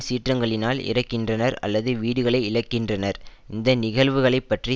சீற்றங்களினால் இறக்கின்றனர் அல்லது வீடுகளை இழக்கின்றனர் இந்த நிகழ்வுகளை பற்றி